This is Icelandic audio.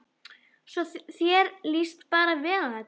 Svo þér líst bara vel á þetta?